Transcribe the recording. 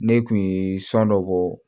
Ne kun ye san dɔ bɔ